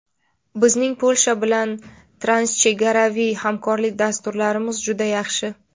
Bizning Polsha bilan transchegaraviy hamkorlik dasturlarimiz juda yaxshi.